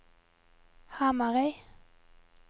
Hamarøy